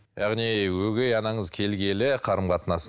яғни өгей анаңыз келгелі қарым қатынас